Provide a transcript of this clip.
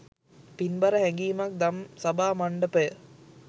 පින්බර හැඟීමක් දම්සභා මණ්ඩපය